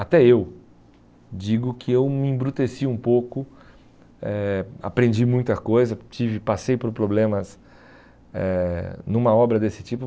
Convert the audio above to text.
Até eu digo que eu me embruteci um pouco, eh aprendi muita coisa, tive passei por problemas eh numa obra desse tipo.